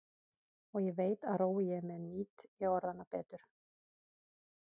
Og ég veit að rói ég með nýt ég orðanna betur.